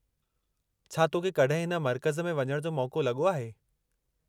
छा तो खे कॾहिं हिन मर्कज़ में वञण जो मौक़ो लॻो आहे?